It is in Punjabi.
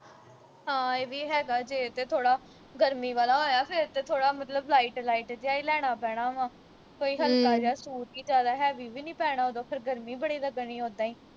ਹਾਂ ਇਹ ਵੀ ਹੈਗਾ ਜੇ ਤੇ ਥੋੜਾ ਗਰਮੀ ਵਾਲਾ ਹੋਇਆ ਫਿਰ ਤੇ ਥੋੜਾ ਮਤਲਬ light ਜਿਹਾ ਈ ਲੈਣਾ ਪੈਣਾ ਵਾ ਕੋਈ ਹਲਕਾ ਜਾ ਸੂਟ ਕਿ ਜਿਆਦਾ heavy ਵੀ ਨੀ ਪੈਣਾ ਉਦੋਂ ਫਿਰ ਗਰਮੀ ਬੜੀ ਲੱਗਣੀ ਓਦਾਂ ਈ